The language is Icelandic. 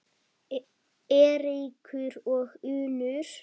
Eiríkur og Unnur.